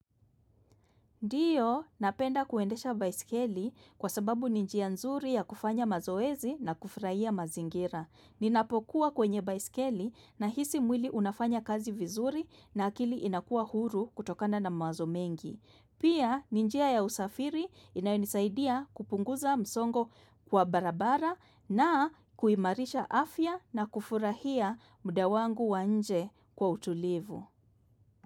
Ndio napenda kuendesha baisikeli kwa sababu ni njia nzuri ya kufanya mazoezi na kufurahia mazingira. Ninapokuwa kwenye baisikeli nahisi mwili unafanya kazi vizuri na akili inakuwa huru kutokana na mawazo mengi. Pia ni njia ya usafiri inayonisaidia kupunguza msongo kwa barabara na kuimarisha afya na kufurahia muda wangu wa nje kwa utulivu.